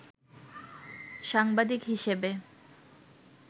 সাংবাদিক হিসেবে